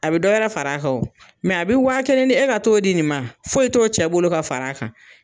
A bɛ dɔ wɛrɛ far'a kan o,mɛ a bɛ waa kelen di e ka t'o di nin ma foyi t'o cɛ bolo ka far'a kan.